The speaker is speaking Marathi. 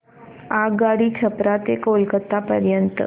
आगगाडी छपरा ते कोलकता पर्यंत